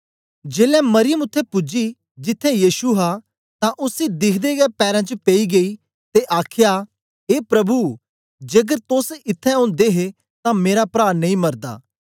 जेलै मरियम उत्थें पूजी जिथें यीशु हा तां उसी दिखदे गै पैरें च पेई गेई ते आखया ए प्रभु जेकर तोस इत्थैं ओदे हे तां मेरा प्रा नेई मरदा